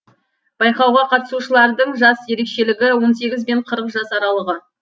байқауға қатысушылардың жас ерекшелігі он сегіз бен қырық жас аралығы